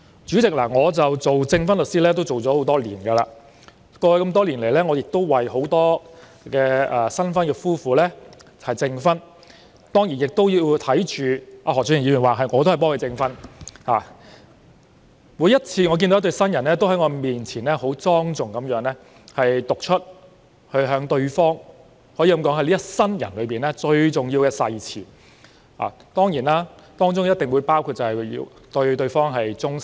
主席，我當了證婚律師多年，過去多年曾為很多新婚夫婦證婚——何俊賢議員說他也是由我證婚的——每次也看到一對對新人，在我面前莊重地向對方讀出可說是一生中最重要的誓詞，而誓詞中必定包括要對對方忠誠。